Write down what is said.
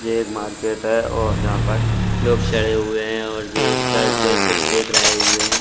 ये एक मार्केट है और यहाँ पर लोग चढ़े हुए हैं और ये इस पर से कुछ देख रहे हुए हैं।